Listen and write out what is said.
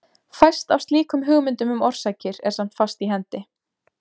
Fæst af slíkum hugmyndum um orsakir er samt fast í hendi.